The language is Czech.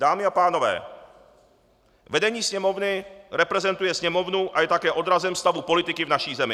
Dámy a pánové, vedení Sněmovny reprezentuje Sněmovnu a je také odrazem stavu politiky v naší zemi.